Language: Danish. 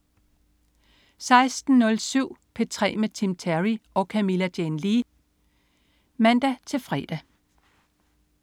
16.07 P3 med Tim Terry og Camilla Jane Lea (man-fre)